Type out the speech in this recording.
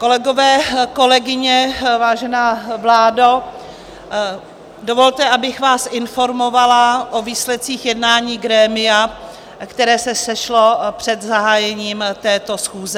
Kolegové, kolegyně, vážená vládo, dovolte, abych vás informovala o výsledcích jednání grémia, které se sešlo před zahájením této schůze.